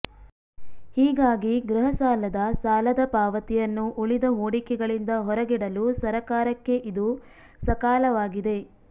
ಹೀಗಾಗಿ ಗೃಹ ಸಾಲದ ಸಾಲದ ಪಾವತಿಯನ್ನು ಉಳಿದ ಹೂಡಿಕೆಗಳಿಂದ ಹೊರಗಿಡಲು ಸರಕಾರಕ್ಕೆ ಇದು ಸಕಾಲವಾಗಿದೆ